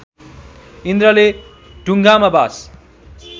इन्द्रले ढुङ्गामा बाँस